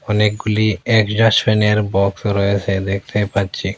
অনেকগুলি বক্স রয়েছে দেখতে পাচ্ছি।